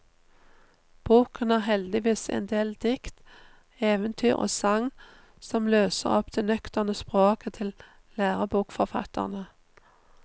Boken har heldigvis endel dikt, eventyr og sagn som løser opp det nøkterne språket til lærebokforfatterne.